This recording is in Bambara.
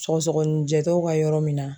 Sɔgɔsɔgɔnijɛ tɔw ka yɔrɔ min na.